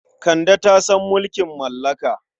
Kande ta san mulkin mallaka.